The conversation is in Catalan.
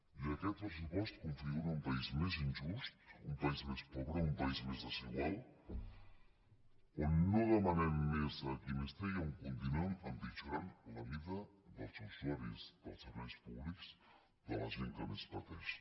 i aquest pressupost configura un país més injust un país més pobre un país més desigual on no demanem més a qui més té i on continuem empitjorant la vida dels usuaris dels serveis públics de la gent que més pateix